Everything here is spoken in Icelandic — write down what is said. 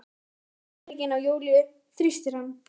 Lena tekur um handlegginn á Júlíu, þrýstir hann.